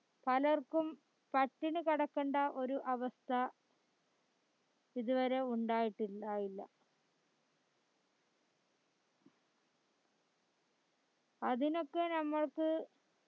പലർക്കും പട്ടിണികിടകേണ്ട ഒരു അവസ്ഥ ഇതുവരെ ഉണ്ടായിട്ടില്ല ഇല്ല അതിനോക്കെ നമ്മൾക്